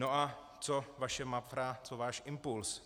No a co vaše MAFRA, co váš Impuls?